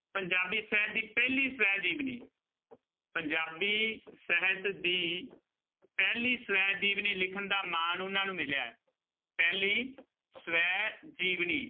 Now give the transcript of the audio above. ਪੰਜਾਬੀ ਸਹਿਤ ਦੀ ਪਹਿਲੀ ਸਵੈ ਜੀਵਨੀ ਪੰਜਾਬੀ ਸਹਿਤ ਦੀ ਪਹਿਲੀ ਸਵੈ ਜੀਵਨੀ ਲਿਖਣ ਦਾ ਮਾਣ ਉਹਨਾਂ ਨੂੰ ਮਿਲਿਆ ਹੈ, ਪਹਿਲੀ ਸਵੈ ਜੀਵਨੀ